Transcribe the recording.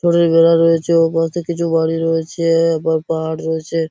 দড়ি ঘেরা রয়েছে ওপাশে কিছু বাড়ি রয়েছে-এ আবার পাহাড় রয়েছে ।